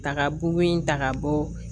Ta ka bugu in ta ka bɔ